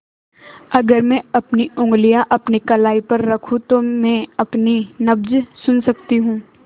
अगर मैं अपनी उंगलियाँ अपनी कलाई पर रखूँ तो मैं अपनी नब्ज़ सुन सकती हूँ